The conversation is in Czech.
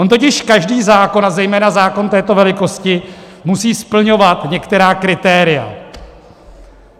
On totiž každý zákon a zejména zákon této velikosti musí splňovat některá kritéria.